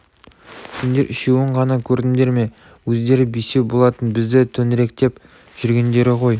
сендер үшеуін ғана көрдіңдер ме өздері бесеу болатын бізді төңіректеп жүргендері ғой